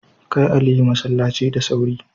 Kai Aliyu masallaci da sauri.